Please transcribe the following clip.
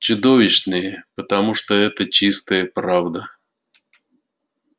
чудовищные потому что это чистая правда